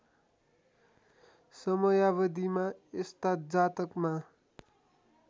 समयावधिमा यस्ता जातकमा